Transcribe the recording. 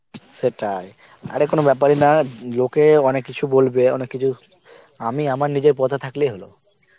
সেটাই, আরে কোনো বেপার ই না, লোকে অনেক কিছু বলবে অনেক কিছু আমি আমার নিজের পথে থাকলেই হলো